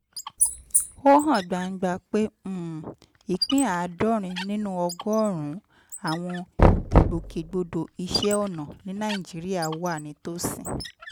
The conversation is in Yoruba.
ó hàn gbangba pé um ìpín àádọ́rin nínú ọgọ́rùn-ún àwọn ìgbòkègbodò iṣẹ́ ọnà ní nàìjíríà wà nítòsí